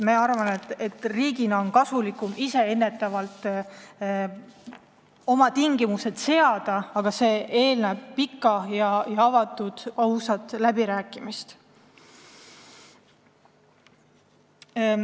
Ma arvan, et riigil on kasulikum ise ennetavalt oma tingimused seada, aga see eeldab pikka, avatud ja ausat läbirääkimist.